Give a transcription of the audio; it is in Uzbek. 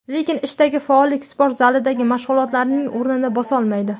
Lekin ishdagi faollik sport zalidagi mashg‘ulotlarning o‘rnini bosolmaydi.